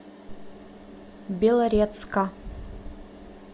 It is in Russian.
белорецка